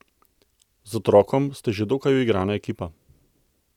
Z otrokom ste že dokaj uigrana ekipa.